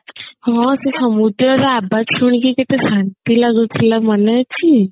ହଁ ସେ ସମୁଦ୍ର ର ଆବାଜ ଶୁଣିକରି କେତେ ଶାନ୍ତି ଲାଗୁଥିଲା ମନେ ଅଛି